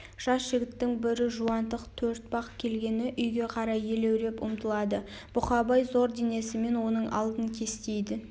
жас жігіттің бірі жуантық төртбақ келгені үйге қарай елеуреп ұмтылады бұқабай зор денесімен оның алдын кестейді